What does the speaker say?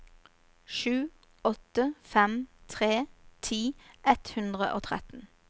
sju åtte fem tre ti ett hundre og tretten